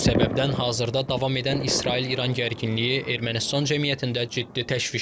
Bu səbəbdən hazırda davam edən İsrail-İran gərginliyi Ermənistan cəmiyyətində ciddi təşviş yaradıb.